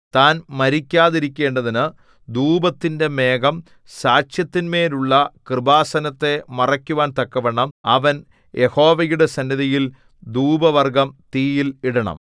താൻ മരിക്കാതിരിക്കേണ്ടതിനു ധൂപത്തിന്റെ മേഘം സാക്ഷ്യത്തിന്മേലുള്ള കൃപാസനത്തെ മറയ്ക്കുവാൻ തക്കവണ്ണം അവൻ യഹോവയുടെ സന്നിധിയിൽ ധൂപവർഗ്ഗം തീയിൽ ഇടണം